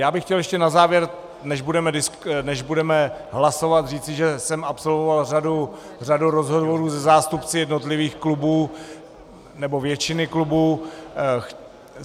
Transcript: Já bych chtěl ještě na závěr, než budeme hlasovat, říci, že jsem absolvoval řadu rozhovorů se zástupci jednotlivých klubů, nebo většiny klubů.